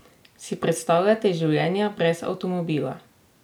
Si predstavljate življenje brez avtomobila?